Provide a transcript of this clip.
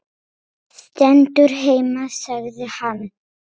Stendur heima sagði hann.